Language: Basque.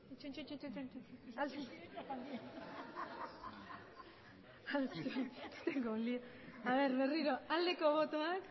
aurkako botoak